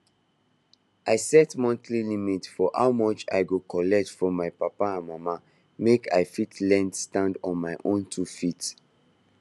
i set monthly limit for how much i go collect from my papa and mama make i fit learn stand on my own two feet